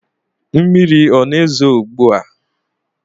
Mmiri a na-ezo ugbu a?